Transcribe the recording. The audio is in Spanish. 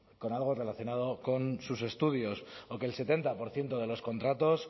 con algo relacionado con sus estudios o que el setenta por ciento de los contratos